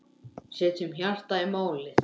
Setjum hjartað í málið.